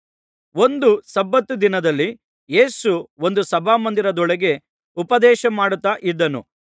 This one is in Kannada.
ಒಂದು ಸಬ್ಬತ್ ದಿನದಲ್ಲಿ ಯೇಸು ಒಂದು ಸಭಾಮಂದಿರದೊಳಗೆ ಉಪದೇಶಮಾಡುತ್ತಾ ಇದ್ದನು